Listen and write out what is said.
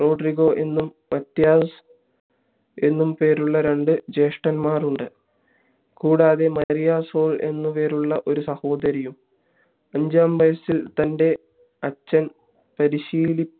Rodrigo എന്നും Matias എന്നും പേരുള്ള രണ്ടു ജ്യേഷ്ഠന്മാരും ഉണ്ട് കൂടാതെ മരിയ സോൾ എന്നും പേരുള്ള ഒരു സഹോദരിയും അഞ്ചാം വയസ്സിൽ തൻ്റെ അച്ഛൻ പരിശീലിപ്പി